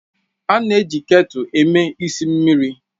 A na-eji ketulu eme esi mmiri